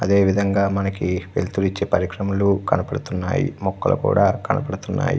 అదేవిధంగా మనకి ఎత్తు నుంచి పరిక్రమలు కనిపిస్తున్నాయి అదేవిధంగా మొక్కలు కూడా కనపడుతున్నాయి.